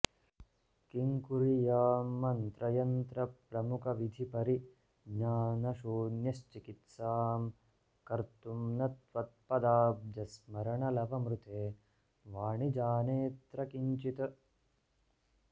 किं कुर्यां मन्त्रयन्त्रप्रमुखविधिपरिज्ञानशून्यश्चिकित्सां कर्तुं न त्वत्पदाब्जस्मरणलवमृते वाणि जानेऽत्र किञ्चित्